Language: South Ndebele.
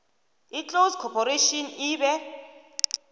iclose corporation ibe